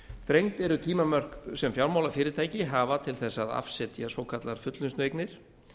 þrengd eru tímamörk sem fjármálafyrirtæki hafa til þess að afsetja svokallaðar fullnustueignir